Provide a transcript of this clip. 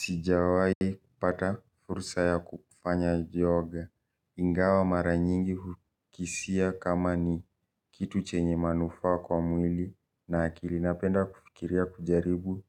Sijawai kupata fursa ya kufanya yoga. Ingawa mara nyingi hukisia kama ni kitu chenye manufa kwa mwili na akili. Napenda kufikiria kujaribu